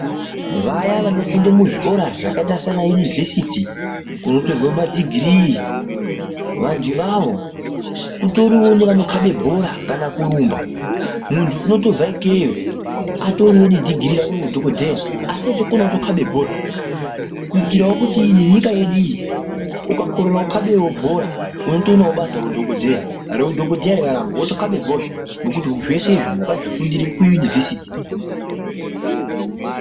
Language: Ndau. Vaya vanofunda muzvikora zvakaita sana yunivhesiti kunotorwa madhigirii vantu ivavo kutorinevo vanokabe bhora kana kurumba. Muntu unotobve ikeyo atorine nedhigirii rake reudhogodheya. Asi eitokonavo kutokabe bhora kuitiravo kuti nenyika yedu iyi ukakoreravo kukabevo bhora unotoonavo basa reudhogodheya. Reudhogodheya rikaramba votokabe bhora ngekuti zvese izvi vakazvifundire kuyunivhesiti.